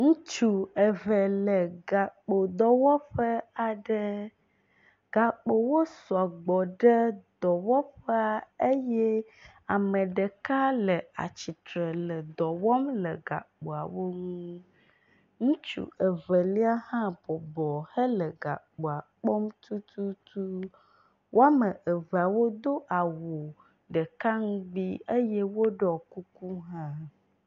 Ŋutsu eve le gakpodɔwɔƒe aɖe. Gakpowo sɔgbɔ ɖe dɔwɔƒea eye ame ɖeka le atsitre le dɔ wɔm le gakpoawo nu. Ŋutsu ɖeka hã bɔbɔ hele gakpoa kpɔm tutu. Wɔme evea wodo awu ɖeka ŋugbi eye woɖɔ kuku hã.